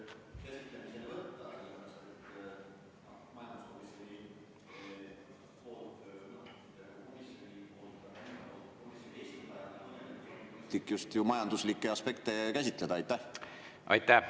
Aitäh!